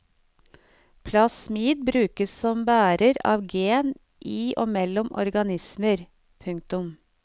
Plasmid brukes som bærer av gen i og mellom organismer. punktum